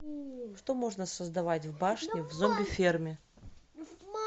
что можно создавать в башне в зомби ферме